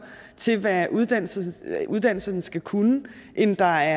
til hvad uddannelserne uddannelserne skal kunne end der